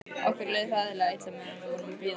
Okkur leið hræðilega illa meðan við vorum að bíða.